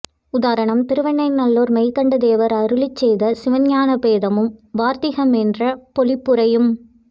உதாரணம் திருவெண்ணை நல்லூர் மெய்கண்டதேவர் அருளிச்செய்த சிவஞானபோதமும் வார்த்திகமென்ற பொழிப்புரையும்